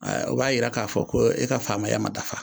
O b'a yira k'a fɔ, ko e ka faamuya ma dafa